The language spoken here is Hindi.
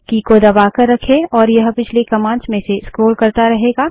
की को दबाकर रखें और यह पिछली कमांड्स में से स्क्रोल करता रहेगा